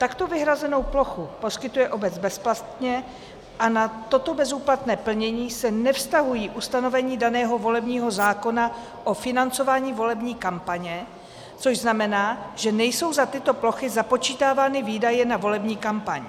Takto vyhrazenou plochu poskytuje obec bezplatně a na toto bezúplatné plnění se nevztahují ustanovení daného volebního zákona o financování volební kampaně, což znamená, že nejsou za tyto plochy započítávány výdaje na volební kampaň.